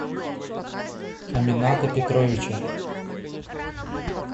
амината петровича